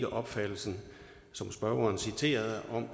opfattelsen som spørgeren citerede